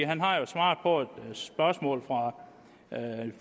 han har jo svaret på et spørgsmål fra